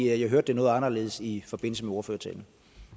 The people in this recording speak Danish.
jeg hørte det noget anderledes i forbindelse med ordførertalen